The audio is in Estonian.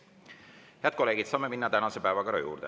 Head kolleegid, saame minna tänase päevakorra juurde.